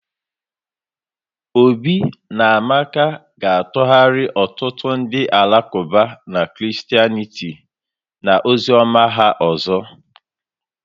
Obi na Amaka ga-atụgharị ọtụtụ ndị Alakụba na Christianity na ozi ọma ha ọzọ